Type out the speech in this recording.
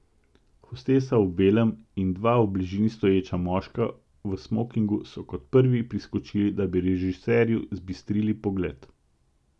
Hostesa v belem in dva v bližini stoječa moška v smokingu so kot prvi priskočili, da bi režiserju zbistrili pogled.